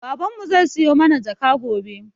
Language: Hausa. Baban mu zai siyo mana jaka gobe